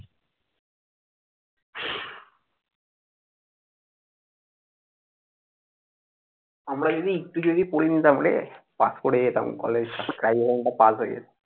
আমরা যদি একটু পরে যেতাম তাহলে পাশ করে যেতাম কলেজটা। জীবনটা পার হয়ে যেতো।